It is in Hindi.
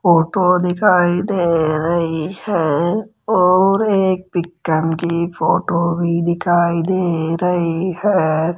फोटो दिखाई दे रही है और एक पिक्कम की फोटो भी दिखाई दे रही है।